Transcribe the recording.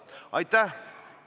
Aitäh!